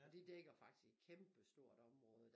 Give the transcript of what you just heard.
Og de dækker faktisk et kæmpestort område